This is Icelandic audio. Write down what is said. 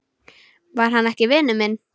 Var hann ekki vinur minn?